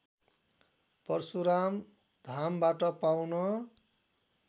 परशुराम धामबाट पाउन